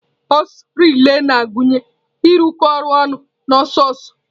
Ọsọ relai na-agụnye ịrụkọ ọrụ ọnụ na ọsọ ọsọ.